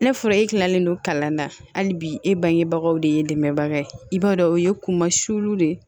Ne furnɛ e kilalen don kalan na hali bi e bangebagaw de ye dɛmɛbaga ye i b'a dɔn o ye kunma sulu de ye